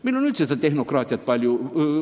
Meil on üldse tehnokraatiat palju.